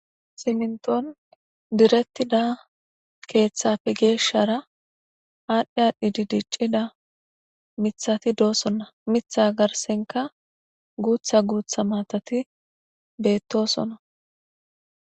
Siminton direttida keeththappe geeshshara aadhdhi aadhdhidi diccida mithati doosonna. mitha garsenka guutha guutha maatati beettosonna.